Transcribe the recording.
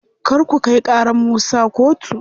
Kar ku kai ƙarar Musa kotu.